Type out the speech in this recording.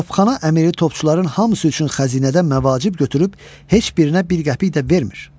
Topxana əmiri topçuların hamısı üçün xəzinədən məvacib götürüb, heç birinə bir qəpik də vermir.